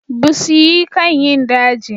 Busioyi kan yin daji.